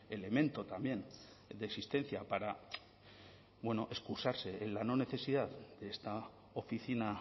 elemento también de existencia para excusarse en la no necesidad de esta oficina